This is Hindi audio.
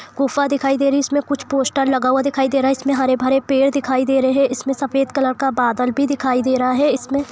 गुफा दिखाई दे रही है इसमें कुछ पोस्टर लगा दिखाई दे रहा है उसमे हरे भरे पेड़ दिखाई दे रहा है इसमें सफेद कलर का बादल भी दिख रहा है इसमे--